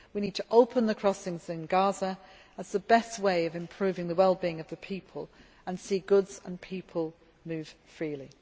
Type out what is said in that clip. clear. We need to open the crossings in Gaza as the best way of improving the well being of the people and to see goods and people move